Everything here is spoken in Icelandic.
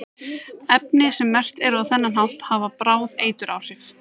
efni sem merkt eru á þennan hátt hafa bráð eituráhrif